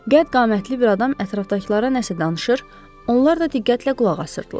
Qədd-qamətli bir adam ətrafdakılara nəsə danışır, onlar da diqqətlə qulaq asırdılar.